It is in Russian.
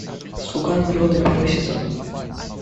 слуга народа первый сезон